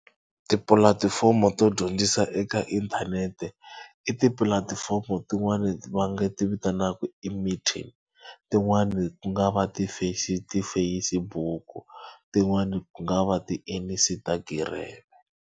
Tipulatifomo to dyondzisa eka inthanete i tipulatifomo tin'wani va nga ti vitanaka e-meeting tin'wani ku nga va ti-Facebook tin'wani ku nga va ti-Instagram.